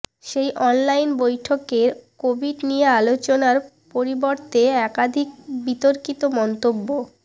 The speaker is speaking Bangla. সেই অনলাইন বৈঠকেই কোভিড নিয়ে আলোচনার পরিবর্তে একাধিক বিতর্কিত মন্তব্য